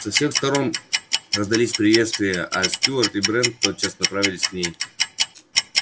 со всех сторон раздались приветствия а стюарт и брент тотчас направились к ней